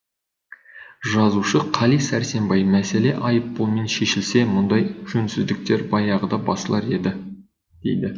жазушы қали сәрсенбай мәселе айыппұлмен шешілсе мұндай жөнсіздіктер баяғыда басылар еді дейді